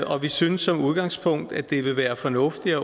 og vi synes som udgangspunkt at det vil være fornuftigt